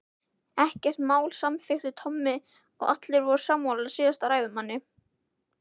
Ekkert mál samþykkti Tommi og allir voru sammála síðasta ræðumanni.